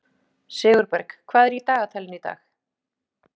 Sigurberg, hvað er í dagatalinu í dag?